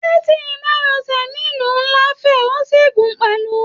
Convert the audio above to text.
Títí márosẹ̀ nílu nlá fẹ òsì gun pẹlú.